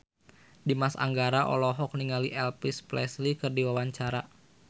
Dimas Anggara olohok ningali Elvis Presley keur diwawancara